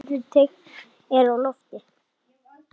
Fleiri teikn eru á lofti.